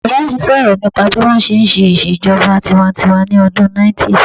Bàbá mi sọ̀rọ̀ nípa bí wọ́n ṣe n ṣe ìṣèjọba tinwatinwa ní ọdún 90's